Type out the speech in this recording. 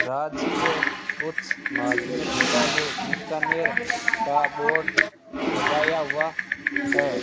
राज्य के उच्च माध्यमिक विद्यालय बिकानेर का बोर्ड लगाया हुआ है।